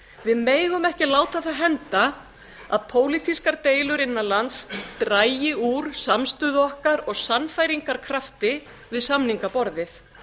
við megum ekki láta það henda að pólitískar deilur innan lands dragi úr samstöðu okkar og sannfæringarkrafti við samningaborðið